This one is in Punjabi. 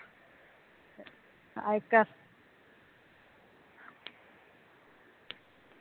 ਆਇਕੈ